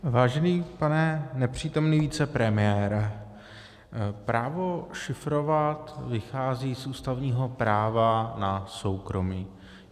Vážený pane nepřítomný vicepremiére, právo šifrovat vychází z ústavního práva na soukromí.